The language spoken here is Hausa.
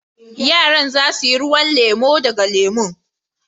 Yaran za su yi ruwan lemu daga lemun.